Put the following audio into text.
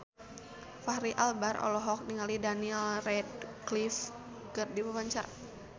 Fachri Albar olohok ningali Daniel Radcliffe keur diwawancara